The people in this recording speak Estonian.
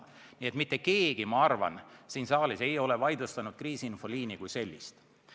Ma arvan, et mitte keegi siin saalis ei ole vaidlustanud kriisiinfoliini kui sellist.